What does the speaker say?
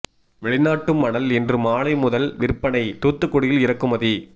வெளிநாட்டு மணல் இன்று மாலை முதல் விற்பனை தூத்துக்குடி யில் இறக்குமதி